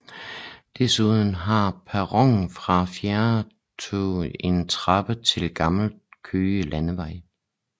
Desuden har perronen for fjerntogene en trappe til Gammel Køge Landevej